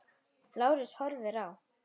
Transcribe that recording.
Lárus horfir á.